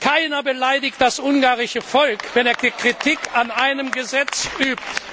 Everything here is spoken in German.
Keiner beleidigt das ungarische Volk, wenn er Kritik an einem Gesetz übt.